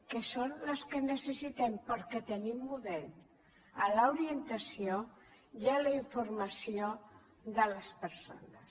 que són les que necessitem perquè tenim model en l’orientació i la informació de les persones